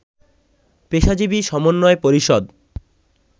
পেশাজীবী সমন্বয় পরিষদ